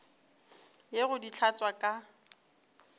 ye go di hlatswa ka